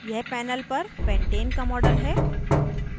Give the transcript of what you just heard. यह panel पर pentane का model है